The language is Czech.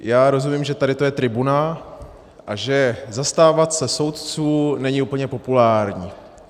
Já rozumím, že tady to je tribuna a že zastávat se soudců není úplně populární.